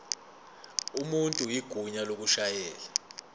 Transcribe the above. umuntu igunya lokushayela